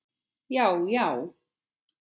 Já já.